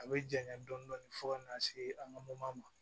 A bɛ janɲa dɔɔnin dɔɔnin fo ka na se an ka mo ma